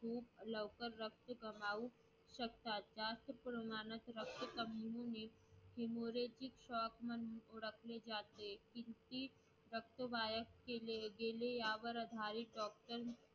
खूप लवकर रक्त गमावू शकतात. जास्तकरून माणूस रक्त